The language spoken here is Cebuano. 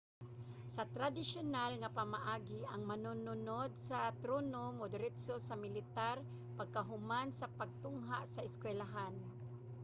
sa tradisyunal nga pamaagi ang manununod sa trono modiretso sa militar pagkahuman sa pagtungha sa eskwelahan